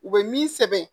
U bɛ min sɛbɛn